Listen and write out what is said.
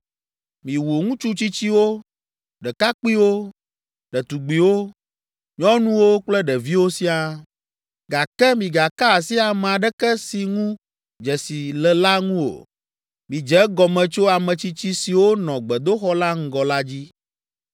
Miwu ŋutsu tsitsiwo, ɖekakpuiwo, ɖetugbiwo, nyɔnuwo kple ɖeviwo siaa, gake migaka asi ame aɖeke si ŋu dzesi le la ŋu o.” Midze egɔme tso ame tsitsi siwo nɔ gbedoxɔ la ŋgɔ la dzi.